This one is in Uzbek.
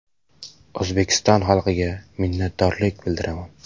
O‘zbekiston xalqiga minnatdorlik bildiraman.